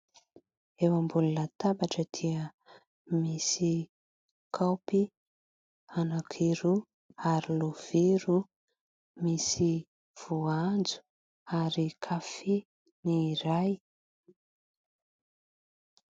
Eo ambony latabatra dia misy kaopy anankiroa ary lovia roa, misy voanjo ary kafe ny iray.